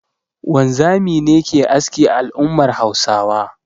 Wanzami ne ke aski a al'ummar Hausawa